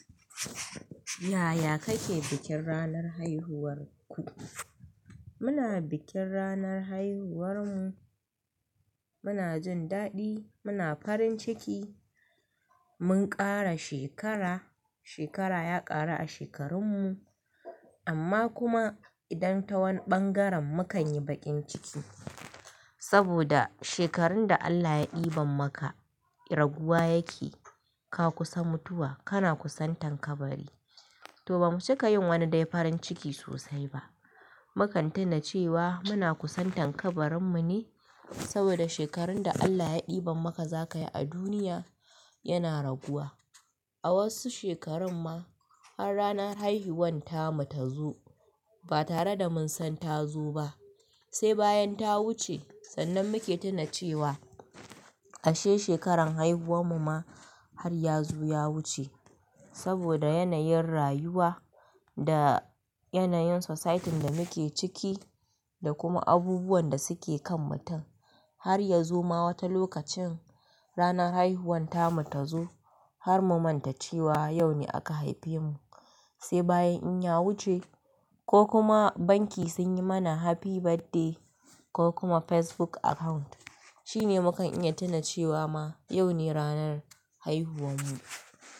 Yaya kake bikin ranar haihuwar ku? Muna bikin ranar haihuwarmu, muna jin daɗi, muna farin ciki, mun ƙara shekara, shekara ya ƙaru a shekarunmu, amma kuma idan ta wani ɓangaren mu kan yi baƙin ciki. Saboda shekarun da Allah ya ɗiban maka raguwa yake, ka kusa mutuwa, kana kusan tankabari. To ba mu cika yin wani dai farin ciki sosai ba. Mu kan tuna cewa muna kusan tankabarinmu ne saboda shekarun da Allah ya ɗiban maka za ka yi a duniya yana raguwa. A wasu shekarun ma har ranar haihuwan ta mu ta zo ba tare da mun san ta zo ba. Sai bayan ta wuce sannan muke tuna cewa ashe shekarar haihuwan mu ma har ya zo ya wuce. Saboda yanayin rayuwa da yanayin society da muke ciki da kuma abubuwan da suke kan mutum. Har ya zo ma wata lokacin ranar haihuwan ta mu ta zo har mu manta cewa yau ne aka haife mu. Sai bayan in ya wuce ko kuma banki sun yi mana happy birthday ko kuma Facebook account shine mu kan iya tuna cewa ma yau ne ranar haihuwan mu.